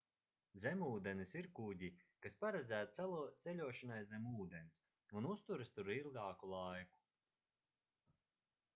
zemūdenes ir kuģi kas paredzēti ceļošanai zem ūdens un uzturas tur ilgāku laiku